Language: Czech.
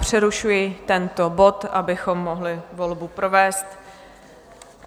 Přerušuji tento bod, abychom mohli volbu provést.